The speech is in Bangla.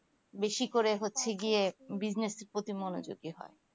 বাসি করে হচ্ছে গিয়ে bussnies এর পতি মনোযোগী হয়